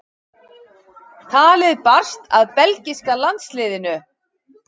Talið barst að belgíska landsliðinu.